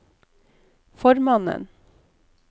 formannen